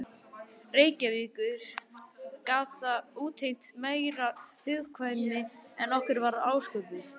Reykjavíkur gat það útheimt meiri hugkvæmni en okkur var ásköpuð.